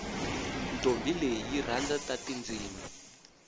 ntombi leyi yirhandza tatindzimi